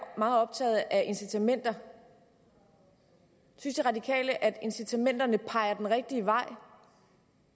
meget optaget af incitamenter synes de radikale at incitamenterne peger den rigtige vej